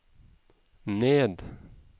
ned